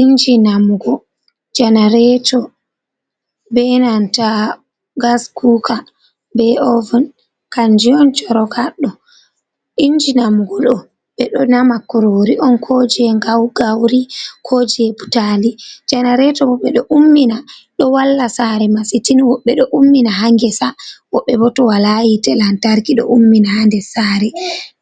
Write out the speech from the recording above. Inji namgo janareeto be gas kuka, be oven, kanji on chorok haddo, inji namugo ɗo ɓe ɗo nama kurori on, ko je gauri, ko je butali, janareto bo ɓe ɗo ummina ɗo walla saare masin tin woɓɓe do ummina ha ngesa, woɓɓe bo to wala yite lantarki ɗo ummina ha nder saare,